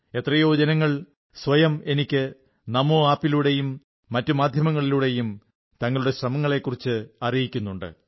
എത്രയോ ജനങ്ങൾ സ്വയം എനിക്ക് നമോ ആപ്പിലൂടെയും മറ്റു മാധ്യമങ്ങളിലൂടെയും തങ്ങളുടെ ശ്രമങ്ങളെക്കുറിച്ച് അറിയിക്കുന്നുണ്ട്